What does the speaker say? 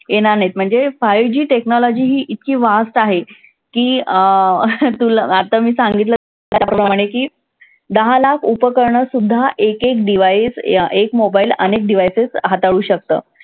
येणार नाहीत म्हणजे five G technology ही इतकी fast आहे की अं तुला आत्ता मी सांगितलं त्याप्रमाणे की, दहा लाख उपकरणंसुद्धा एक एक device एक mobile अनेक devices हाताळू शकतं.